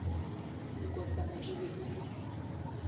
nkotsana e be e le